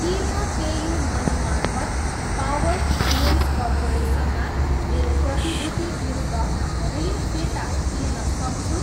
के म PayU money मार्फत पावर फाइनेन्स कर्पोरेसनमा मेरो प्रतिभूति विरुद्ध ऋण फिर्ता तिर्न सक्छु?